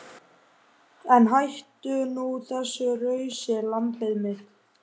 En hættu nú þessu rausi lambið mitt.